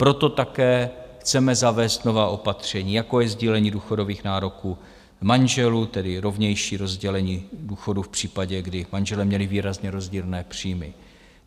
Proto také chceme zavést nová opatření, jako je sdílení důchodových nároků manželů, tedy rovnější rozdělení důchodů v případě, kdy manželé měli výrazně rozdílné příjmy.